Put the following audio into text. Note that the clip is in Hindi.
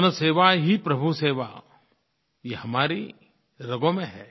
जनसेवा ही प्रभुसेवा यह हमारी रगों में है